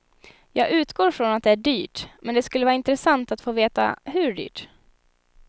Jag utgår från att det är dyrt, men det skulle vara intressant att få veta hur dyrt.